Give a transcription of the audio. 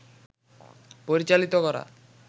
পরিচালিত করা